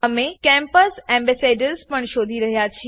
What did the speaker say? અમે campus ambassadors પણ શોધી રહ્યા છે